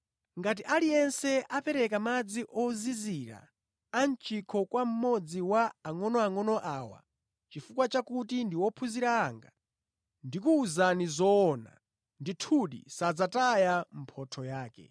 Ngati aliyense apereka madzi ozizira a mʼchikho kwa mmodzi wa angʼonoangʼono awa chifukwa cha kuti ndi ophunzira anga, ndikuwuzani zoona, ndithudi sadzataya mphotho yake.”